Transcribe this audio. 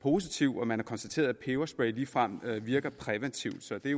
positiv og at man har konstateret at peberspray ligefrem virker præventivt så det